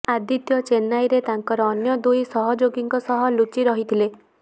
ଆଦିତ୍ୟ ଚେନ୍ନାଇରେ ତାଙ୍କର ଅନ୍ୟ ଦୁଇ ସହଯୋଗୀଙ୍କ ସହ ଲୁଚୁ ରହିଥିଲେ